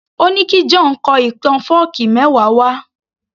Ó ní kí John kọ ìtàn fọ́ọ̀kí mẹ́wa wá